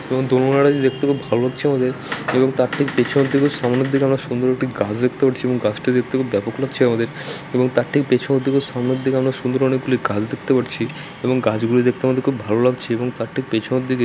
দেখতে খুব লাগছে আমাদের এবং তার ঠিক পিছন থেকে সামনের দিকে সুন্দর একটি গাছ দেখতে পাচ্ছি | এবং গাছটি দেখতে খুব ব্যাপক লাগছে আমাদের এবং তার ঠিক পেছন থেকে সামনের দিকে আমরা সুন্দর অনেকগুলি গাছ দেখতে পাচ্ছি |এবং গাছগুলি দেখতে আমাদের খুব ভালো লাগছে এবং তার ঠিক পিছন দিকে--